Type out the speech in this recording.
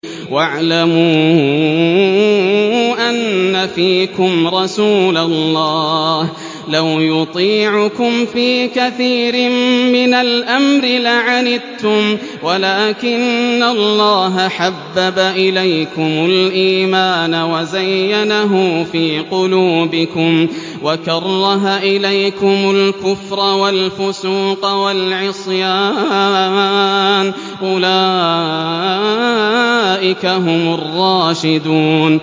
وَاعْلَمُوا أَنَّ فِيكُمْ رَسُولَ اللَّهِ ۚ لَوْ يُطِيعُكُمْ فِي كَثِيرٍ مِّنَ الْأَمْرِ لَعَنِتُّمْ وَلَٰكِنَّ اللَّهَ حَبَّبَ إِلَيْكُمُ الْإِيمَانَ وَزَيَّنَهُ فِي قُلُوبِكُمْ وَكَرَّهَ إِلَيْكُمُ الْكُفْرَ وَالْفُسُوقَ وَالْعِصْيَانَ ۚ أُولَٰئِكَ هُمُ الرَّاشِدُونَ